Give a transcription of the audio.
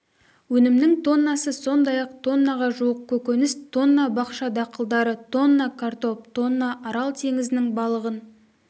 өнімнің тоннасы сондай-ақ тоннаға жуық көкөніс тонна бақша дақылдары тонна картоп тонна арал теңізінің балығын